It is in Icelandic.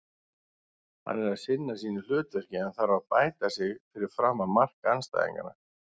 Hann er að sinna sínu hlutverki en þarf að bæta sig fyrir framan mark andstæðinganna.